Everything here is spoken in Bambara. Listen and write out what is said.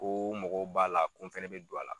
Ko mɔgɔw b'a la ko n fɛnɛ bɛ don a la.